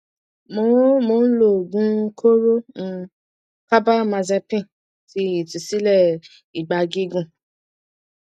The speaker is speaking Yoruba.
mo mo ń lo oogun kooro um carbamazepine ti itusile ìgbà gígùn